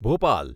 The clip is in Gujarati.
ભોપાલ